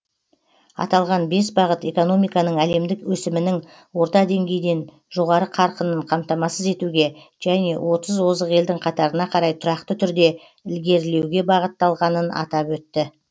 аталған бес бағыт экономиканың әлемдік өсімінің орта деңгейден жоғары қарқынын қамтамасыз етуге және отыз озық елдің қатарына қарай тұрақты түрде ілгерілеуге бағытталғанын атап өтті